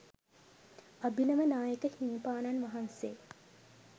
අභිනව නායක හිමිපාණන් වහන්සේ